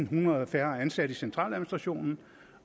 hundrede færre ansatte i centraladministrationen